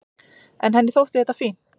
En henni þótti þetta fínt.